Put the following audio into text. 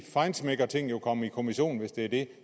feinschmeckerting jo komme i kommision hvis det